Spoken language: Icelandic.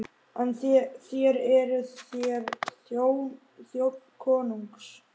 En þér, eruð þér þjónn konungs?